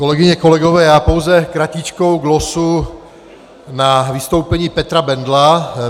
Kolegyně, kolegové, já pouze kratičkou glosu na vystoupení Petra Bendla.